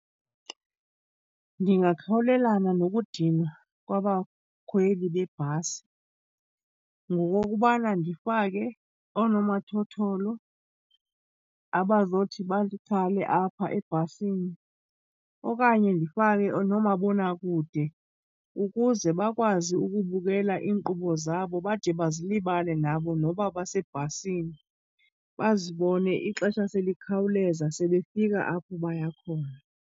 Ndingakhawulelana nokudinwa kwabakhweli bebhasi ngokokubana ndifake oonomathotholo abazothi bakhale apha ebhasini. Okanye ndifake noomabonakude ukuze bakwazi ukubukela iinkqubo zabo bade bazilibale nabo noba basebhasini. Bazibone ixesha selikhawuleza sebefika apho baya khona.